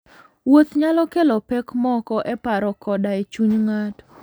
Wuoth nyalo kelo pek moko e paro koda e chuny ng'ato.